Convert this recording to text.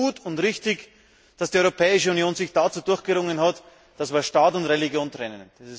Es ist gut und richtig, dass die Europäische Union sich dazu durchgerungen hat, Staat und Religion zu trennen.